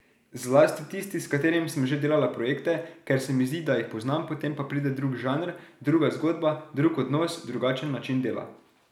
Zlasti tisti, s katerimi sem že delala projekte, ker se mi zdi, da jih poznam, potem pa pride drug žanr, druga zgodba, drug odnos, drugačen način dela.